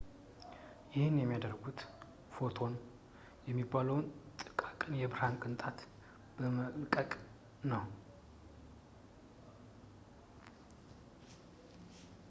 ይህን የሚያደርጉት ፎቶን የሚባለውን ጥቃቅን የብርሃን ቅንጣትን በመለቀቅ ነው